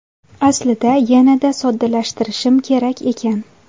Aslida yanada soddalashtirishim kerak ekan.